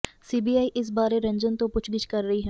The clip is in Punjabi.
ਸੀਬੀਆਈ ਇਸ ਬਾਰੇ ਰੰਜਨ ਤੋਂ ਪੁੱਛਗਿੱਛ ਕਰ ਰਹੀ ਹੈ